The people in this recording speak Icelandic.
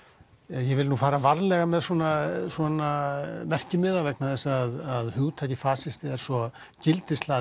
ég vil fara varlega með svona merkimiða vegna þess að hugtakið fasisti er svo gildishlaðið